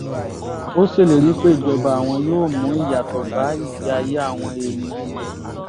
ó ṣèlérí pé ìjọba àwọn yóò mú ìyàtọ̀ bá ìgbé ayé àwọn èèyàn ilẹ̀ yìí